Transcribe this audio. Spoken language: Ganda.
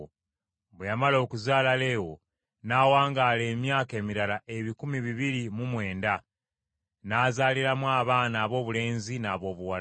bwe yamala okuzaala Leewo n’awangaala emyaka emirala ebikumi bibiri mu mwenda, n’azaaliramu abaana aboobulenzi n’aboobuwala.